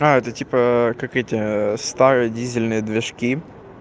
а это типа как эти старые дизельные движки